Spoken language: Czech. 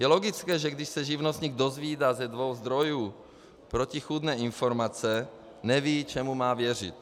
Je logické, že když se živnostník dozvídá ze dvou zdrojů protichůdné informace, neví, čemu má věřit.